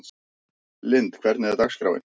Lynd, hvernig er dagskráin?